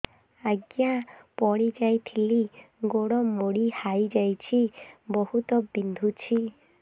ଆଜ୍ଞା ପଡିଯାଇଥିଲି ଗୋଡ଼ ମୋଡ଼ି ହାଇଯାଇଛି ବହୁତ ବିନ୍ଧୁଛି